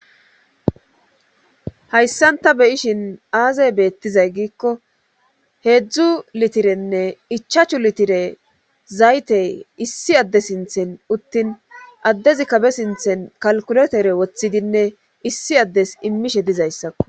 Hayssanta beyishin aazey beettizay giikko heedzdzu litirenne ichachu litire zayte issi adde sinthen uttin addezi kabe sinthen kalkuletere woththidinne issi addes immishe dizayssako.